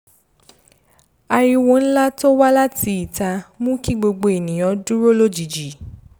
ariwo ńlá to wá láti ìta mú kí gbogbo ènìyàn dúró lójijì